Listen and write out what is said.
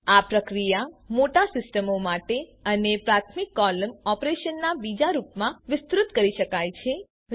આ પ્રક્રિયા મોટા સિસ્ટમો માટે અને પ્રાથમિક કોલમ ઓપરેશન ના બીજા રૂપમાં વિસ્તૃત કરી શકાય છે